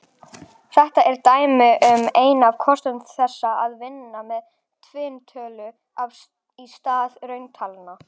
Þetta er dæmi um einn af kostum þess að vinna með tvinntölur í stað rauntalna.